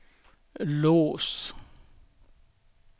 lås